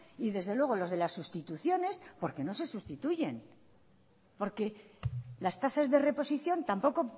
y desde luego los de las sustituciones porque no se sustituyen porque las tasas de reposición tampoco